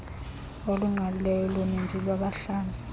olungqalileyo loninzi lwabahlali